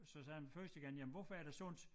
Så sagde han første gang jamen hvorfor er det sundt?